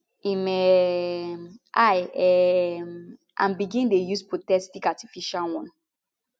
im um eye um and begin dey use prosthetic artificial one